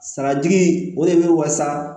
Saratigi o de bɛ waasa